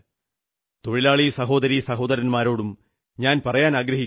തൊഴിലാളി സഹോദരീ സഹോദരന്മാരോടും ഞാൻ പറയാനാഗ്രഹിക്കുന്നു